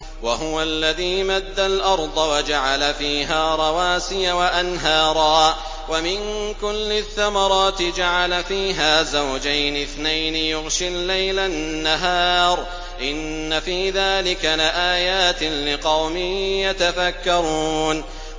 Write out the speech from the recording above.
وَهُوَ الَّذِي مَدَّ الْأَرْضَ وَجَعَلَ فِيهَا رَوَاسِيَ وَأَنْهَارًا ۖ وَمِن كُلِّ الثَّمَرَاتِ جَعَلَ فِيهَا زَوْجَيْنِ اثْنَيْنِ ۖ يُغْشِي اللَّيْلَ النَّهَارَ ۚ إِنَّ فِي ذَٰلِكَ لَآيَاتٍ لِّقَوْمٍ يَتَفَكَّرُونَ